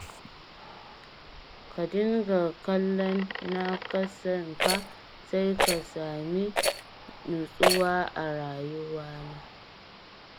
Ka dinga kallon na ƙasanka sai ka sami nutsuwa a rayuwana.